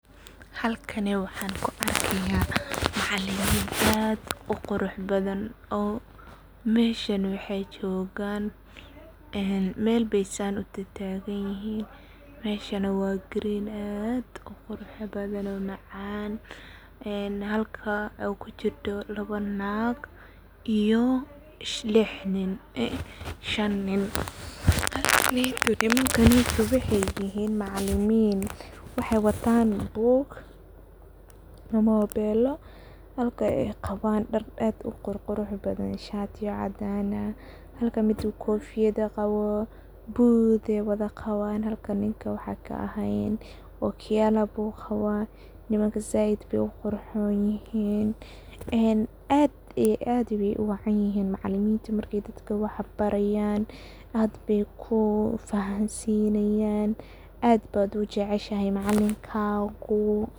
Halkani waxan ku arkaya macalimin aad u qurux badan. Meshan ay jogan mel ayey san u tatagan yihin, meshana waa green oo aad u qurux badan oo macaan halka oo ay kujido laba naag iyo lix nin ama shan .Nimankan waa macalimin waxey watan buug, mobelo ,halka ay qawan dhaar aad u qurux badan, shatiya cadan ah ,halka ninka kofiyad qabo ,buud ay wadha qawan halka ninka waxan kaehen okiyalo buu qawa, nimanka zaid bey u qurxon yihin .Aad iyo aad bey u wacan yihin macaliminta dadka markey wax barayan ,aad bey ku fahansinayan ,aad baa u jeceshahay macalinkagu.